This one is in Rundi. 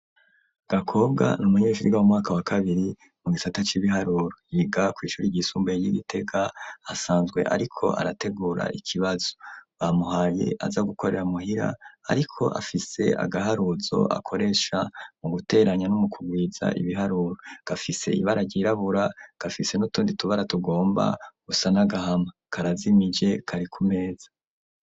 Gakobwa n'umunyeshure w'u mwaka wa kabiri mu gisata c'ibiharuro yiga ku ishuri ryisumbaye ryi Gitega hasanzwe ariko arategura ikibazo. Bamuhaye aza gukorera muhira ariko afise agaharuzo akoresha mu guteranya n'umukugwiza ibiharuro gafise ibara ryirabura gafise n'utundi tubara tugomba gusa nagahama karazimije kari kumeza.